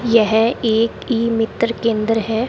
यह एक ई मित्र केंद्र है।